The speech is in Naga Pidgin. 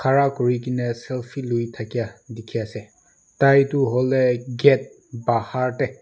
khara kuri gina selfie lui thakia dikhiase taitu hoile gate bahar de--